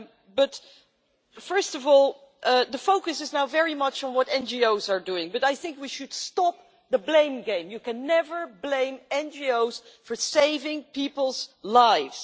But, first of all, the focus is now very much on what NGOs are doing, and I think we should stop the blame game. You can never blame NGOs for saving people's lives.